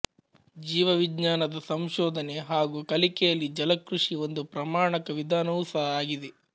ಜೀವವಿಜ್ಞಾನದ ಸಂಶೋಧನೆ ಹಾಗು ಕಲಿಕೆಯಲ್ಲಿ ಜಲಕೃಷಿ ಒಂದು ಪ್ರಮಾಣಕ ವಿಧಾನವೂ ಸಹ ಆಗಿದೆ